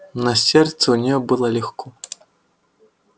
на сердце у нее было легко